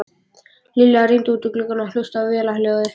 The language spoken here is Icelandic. Lilla rýndi út um gluggann og hlustaði á vélarhljóðið.